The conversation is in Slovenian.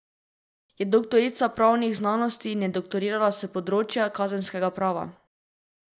Je doktorica pravnih znanosti in je doktorirala s področja kazenskega prava.